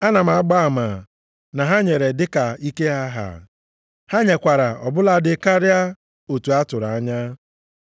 Ana m agba ama na ha nyere dịka ike ha, ha nyekwara ọ bụladị karịa otu a tụrụ anya.